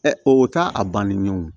o t'a a banni ye o